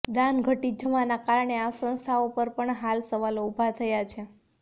દાન ઘટી જવાનાં કારણે આ સંસ્થાઓ પર પણ હાલ સવાલ ઉભો થયો છે